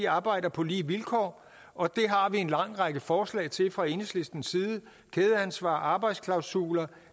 arbejder på lige vilkår og det har vi en lang række forslag til fra enhedslistens side kædeansvar arbejdsklausuler og